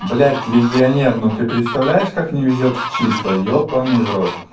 блядь легионер ну ты представляешь как не везёт в числа ебанный в рот